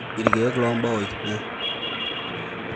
ilkiek loo mbaoi-